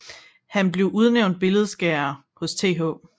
Han blev udlært billedskærer hos Th